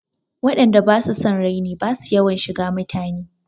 Waɗan da basu son raini basu yawan shiga mutane.